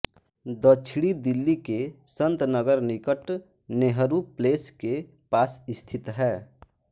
दक्षिणी दिल्ली के संतनगर निकट नेहरू प्लेस के पास स्थित है